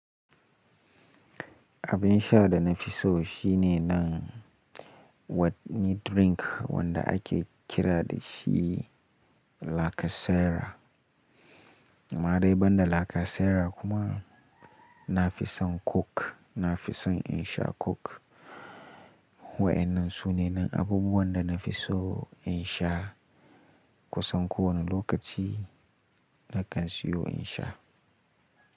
Abin sha da na fi so shine nan wani drink wanda ake kira da shi "lakasera". Amma dai banda lakasera kuma na fi son coke, na fi son in sha coke. Wa'ennan su ne na abubuwan da na fi so in sha, kusan kowane lokaci na kan siyo in sha.